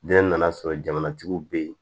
Ne nana sɔrɔ jamanatigiw be yen